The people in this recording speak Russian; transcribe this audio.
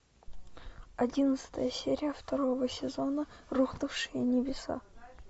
одиннадцатая серия второго сезона рухнувшие небеса